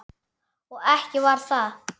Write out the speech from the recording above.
Og ekki bara það: